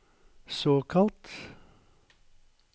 såkalt